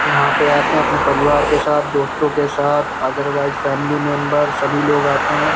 यहाँ पे आते हैं अपने परिवार के साथ दोस्तों के साथ अदरवाइज फॅमिली मेम्बेर्स सभी लोग आते हैं।